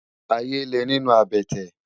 Àyé lé ninú àbètè